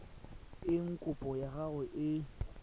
eng kopo ya gago e